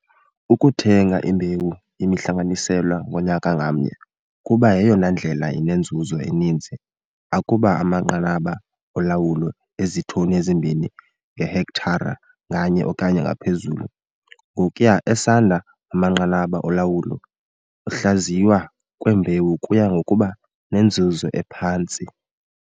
Ukuthenga imbewu yemihlanganiselwa ngonyaka ngamnye, kuba yeyona ndlela inenzuzo eninzi, akuba amanqanaba olawulo eziitoni ezimbini ngehektare nganye okanye ngaphezulu. Ngokuya esanda amanqanaba olawulo, ukuhlaziywa kwembewu kuya ngokuba nenzuzo ephantsi.